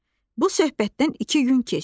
Bu söhbətdən iki gün keçdi.